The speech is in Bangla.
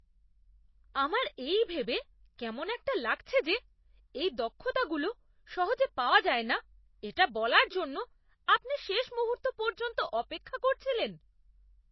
আমার এই ভেবে কেমন একটা লাগছে যে এই দক্ষতাগুলো সহজে পাওয়া যায় না এটা বলার জন্য আপনি শেষ মুহূর্ত পর্যন্ত অপেক্ষা করছিলেন।